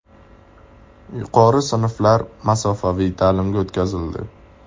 Yuqori sinflar masofaviy ta’limga o‘tkazildi.